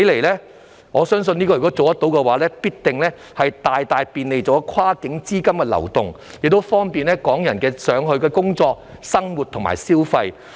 如果成事，我相信必定能夠大大便利跨境資金的流動，亦方便香港人到內地工作、生活和消費。